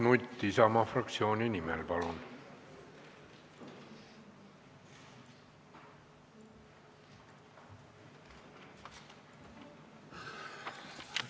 Mart Nutt Isamaa fraktsiooni nimel, palun!